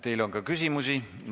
Teile on ka küsimusi.